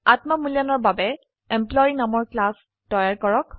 আত্ম মূল্যায়নৰ বাবে এমপ্লয়ী নামৰ ক্লাস তৈয়াৰ কৰক